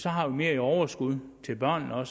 have mere i overskud til børnene og